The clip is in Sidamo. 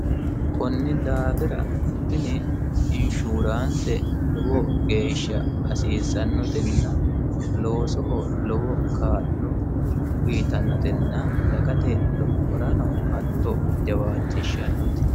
konni daafira tini inshuuraanse lowo geesha hasiissanotenna loosoho lowo kaa'lo uuyitannotenna dagate lophorano hattono jawachishannote.